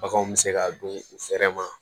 Baganw bɛ se ka don u fɛnɛ ma